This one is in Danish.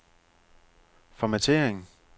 formattering